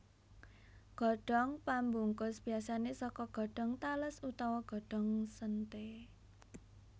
Godhong pambungkus biasané saka godhong tales utawa godhong séntheé